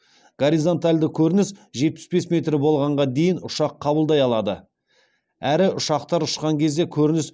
горизонталды көрініс жетпіс бес метр болғанға дейін ұшақ қабылдай алады әрі ұшақтар ұшқан кезде көрініс